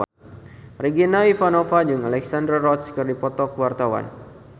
Regina Ivanova jeung Alexandra Roach keur dipoto ku wartawan